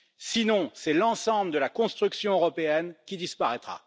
Sinon, c'est l'ensemble de la construction européenne qui disparaîtra.